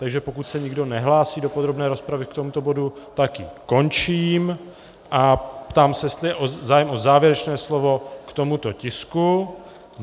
Takže pokud se nikdo nehlásí do podrobné rozpravy k tomuto bodu, tak ji končím a ptám se, jestli je zájem o závěrečné slovo k tomuto tisku.